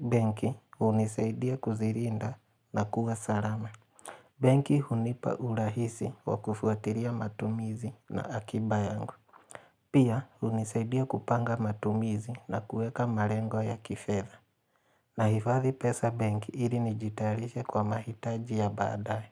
benki hunisaidia kuzirinda na kuwa salama. Benki hunipa urahisi wa kufuatiria matumizi na akiba yangu. Pia hunisaidia kupanga matumizi na kuweka marengo ya kifedha. Nahifadhi pesa benki ili nijitayarishe kwa mahitaji ya baadaye.